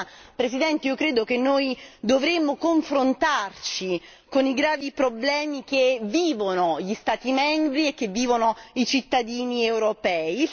Insomma, Presidente, io credo che noi dovremo confrontarci con i gravi problemi che vivono gli Stati membri e che vivono i cittadini europei.